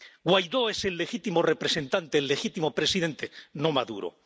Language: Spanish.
Guaidó es el legítimo representante, el legítimo presidente, no Maduro.